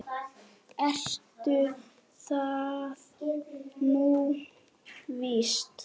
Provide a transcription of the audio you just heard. Við varla komnar í fötin.